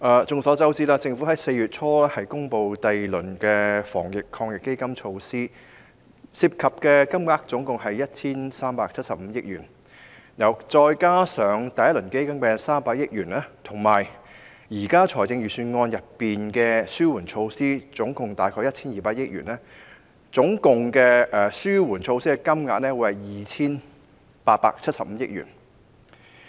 眾所周知，政府在4月初公布了第二輪防疫抗疫基金的措施，涉及金額高達 1,375 億元，再加上第一輪防疫抗疫基金的300億元，以及現時預算案中合共約 1,200 億元的紓緩措施，紓緩措施的金額總數合共 2,875 億元。